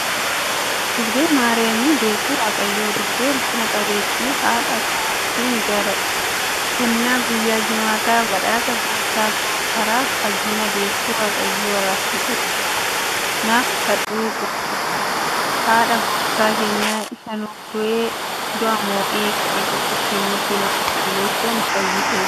Durbee maariyaamii deessuu waaqayyoo. Durbee ulfina qabeettii haadha koo sin jaalladha. Kennaa guyyaa jimaataa, badhaasa gooftaa koo. Karaa fayyinaa, deessuu waaqayyoo, araarsituu koo, naaf kadhu cubbuukoof. Haadha gooftaa keenyaa isa nuuf du'ee, du'a mo'ee ka'ee, cubbuu keenyatti nu qulleessee, nu fayyiseeti.